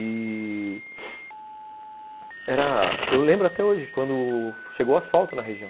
E... eu lembro até hoje, quando chegou o asfalto na região.